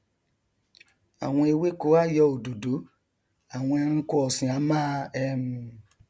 àwọn ewéko a yọ òdòdó àwọn ẹranko ọsìn a máa um